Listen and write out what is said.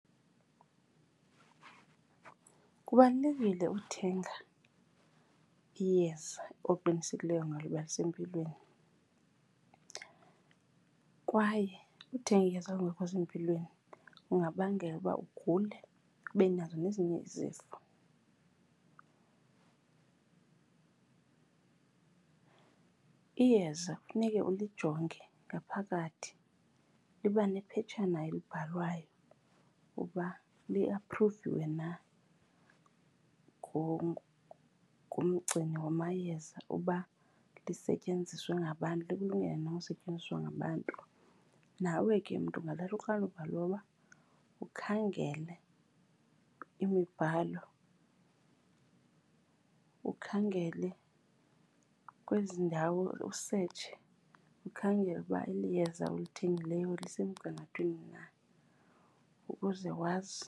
Kubalulekile uthenga iyeza oqinisekileyo ngalo uba lisempilweni kwaye uthenga iyeza elingekho sempilweni kungabangela ukuba ugule, ube nazo nezinye izifo. Iyeza kufuneke ulijonge ngaphakathi, liba nephetshana elibhalwayo uba liaphruviwe na ngumgcini wamayeza uba lisetyenziswe ngabantu, likulungele na ukusetyenziswa ngabantu. Nawe ke mntu ungathatha uxanduva loba ukhangele imibhalo, ukhangele kwezi ndawo, usetshe ukhangele ukuba eli yeza olithengileyo lisemgangathweni na ukuze wazi.